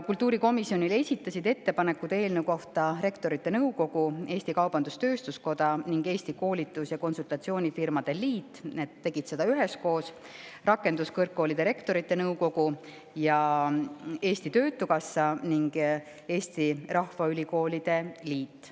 Kultuurikomisjonile esitasid eelnõu kohta ettepanekuid Rektorite Nõukogu, Eesti Kaubandus-Tööstuskoda ning Eesti Koolitus- ja Konsultatsioonifirmade Liit üheskoos, Rakenduskõrgkoolide Rektorite Nõukogu, Eesti Töötukassa ning Eesti Rahvaülikoolide Liit.